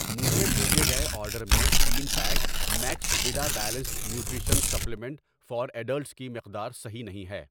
مجھے بھیجے گئے آرڈر میں تین pack max vida balanced nutrition supplement for adults کی مقدار صحیح نہیں ہے۔